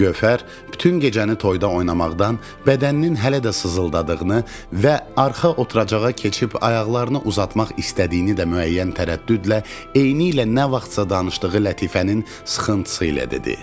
Gövhər bütün gecəni toyda oynamaqdan bədəninin hələ də sızıldadığını və arxa oturacağa keçib ayaqlarını uzatmaq istədiyini də müəyyən tərəddüdlə eynilə nə vaxtsa danışdığı lətifənin sıxıntısı ilə dedi.